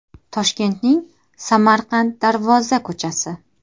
Toshkentning Samarqand Darvoza ko‘chasi.